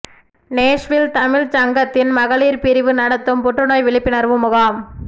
Nashville தமிழ்ச் சங்கத்தின் மகளிர் பிரிவு நடத்தும் புற்றுநோய் விழிப்புணர்வு முகாம்